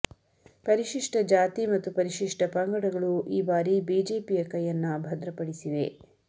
ಪರಿಶಿಷ್ಟ ಜಾತಿ ಮತ್ತು ಪರಿಶಿಷ್ಟ ಪಂಗಡಗಳು ಈಬಾರಿ ಬಿಜೆಪಿಯ ಕೈಯನ್ನ ಭದ್ರಪಡಿಸಿವೆ